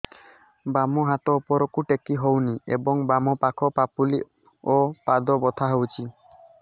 ବାମ ହାତ ଉପରକୁ ଟେକି ହଉନି ଏବଂ ବାମ ପାଖ ପାପୁଲି ଓ ପାଦ ବଥା ହଉଚି